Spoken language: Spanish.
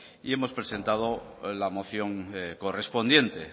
y hemos presentado la moción correspondiente